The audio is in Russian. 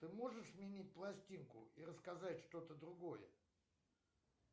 ты можешь сменить пластинку и рассказать что то другое